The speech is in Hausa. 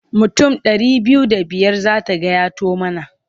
Mutum ɗari biyu da biyar za ta gayyato mana.